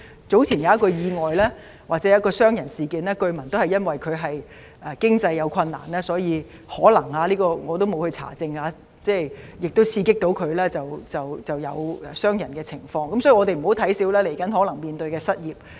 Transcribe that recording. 早前有一宗意外——或傷人事件——據聞涉案人士有經濟困難，可能他因此——我沒有查證——受刺激而傷人，所以，我們不要小看未來可能出現的失業問題。